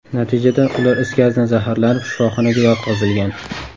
Natijada, ular is gazidan zaharlanib, shifoxonaga yotqizilgan.